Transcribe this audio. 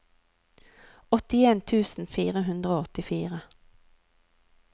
åttien tusen fire hundre og åttifire